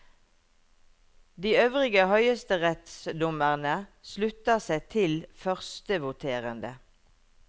De øvrige høyesterettsdommere slutta seg til førstevoterende.